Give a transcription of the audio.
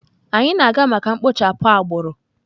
Anyị na-aga maka mkpochapụ agbụrụ.